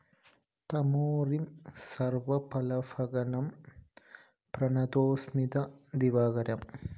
തമോരിം സര്‍വപാപഘ്‌നം പ്രണതോസ്മി ദിവാകരം!!